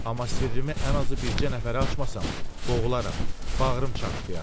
Amma sirrimi ən azı bircə nəfərə açmasam, boğularam, bağrım çartdayar.